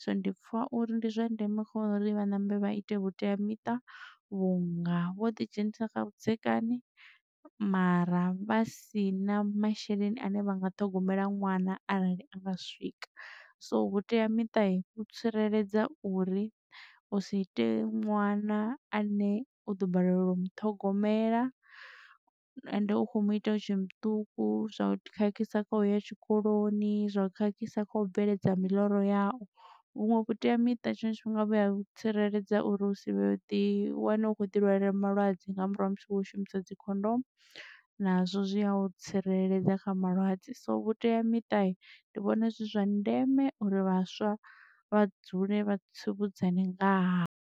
So ndi pfha uri ndi zwa ndeme khori vha ṋambe vha ite vhuteamiṱa vhunga vho ḓi dzhenisa kha vhudzekani mara vha si na masheleni ane vha nga ṱhogomela ṅwana arali anga swika. So vhuteamita vhu tsireledza uri u si ite ṅwana a ne u ḓo balelwa u muṱhogomela ende u khomu ita utshe muṱuku zwa u khakhisa kha uya tshikoloni zwa u khakhisa kha u bveledza miḽoro yau. Vhuṅwe vhuteamiṱa tshiṅwe tshifhinga vhuya tsireledza uri hu si vha ḓi wane u khou ḓi lwalela malwadze nga murahu ha musi wo shumisa dzikhondomu nazwo zwi a u tsireledza kha malwadze. So vhuteamiṱa ndi vhona zwi zwa ndeme uri vhaswa vha dzule vha tsivhudza ne nga ha.